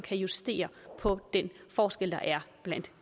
justere på den forskel der er blandt